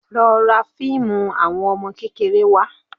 Lọ ra fíìmù àwọn ọmọ kékeré wá